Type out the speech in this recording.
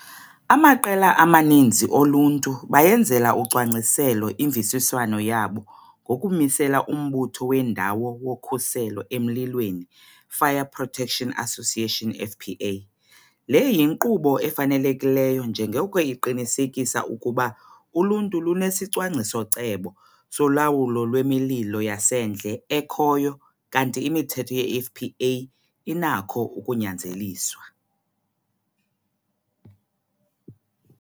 Amaqela amaninzi oluntu bayenzela ucwangciselo imvisiswano yabo ngokumisela uMbutho wendawo woKhuselo emLilweni Fire Protection Association FPA. Le yinkqubo efanelekileyo njengoko iqinisekisa ukuba uluntu lunesicwangciso-cebo solawulo lwemililo yasendle ekhoyo kanti imithetho yeFPA inakho ukunyanzeliswa.